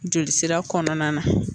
Joli sira kɔnɔna na